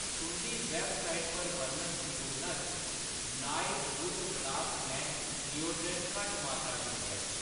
तुंʼदी वैबसाइट पर बर्णत दी तुलना च Nike wood blast man deodorant घट्ट मात्तरा च मिलेआ